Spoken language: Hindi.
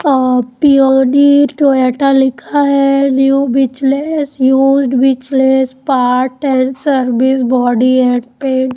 अ पी_ओ_डी टोयोटा लिखा है new used part and service body and paint --